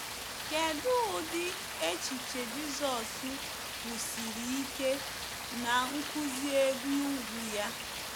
Kedụ ụdị echiche Jizọs kwusiri ike N'nkuzi Elu Ugwu ya?